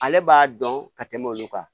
Ale b'a dɔn ka tɛmɛ olu kan